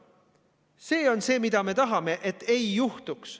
See on see, mida me tahame, et ei juhtuks.